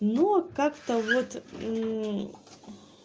ну аа как-то вот мм